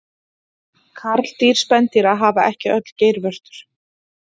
karldýr spendýra hafa ekki öll geirvörtur